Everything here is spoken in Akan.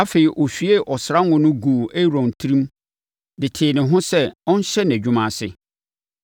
Afei, ɔhwiee ɔsra ngo no guu Aaron tirim de tee ne ho sɛ ɔnhyɛ nʼadwuma ase.